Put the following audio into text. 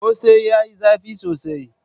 Kose yayi zafi sosai.